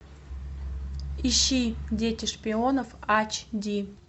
ищи дети шпионов ач ди